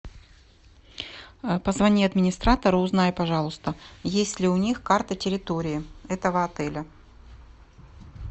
позвони администратору узнай пожалуйста есть ли у них карта территории этого отеля